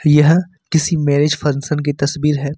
यह किसी marriage function की तस्वीर है।